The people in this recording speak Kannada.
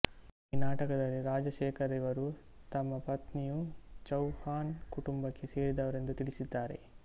ಈ ನಾಟಕದಲ್ಲಿ ರಾಜಶೇಖರರಿವರು ತಮ್ಮ ಪತ್ನಿಯು ಚೌಹಾನ್ ಕುಟುಂಬಕ್ಕೆ ಸೇರಿದವರೆಂದು ತಿಳಿಸಿದ್ದಾರೆ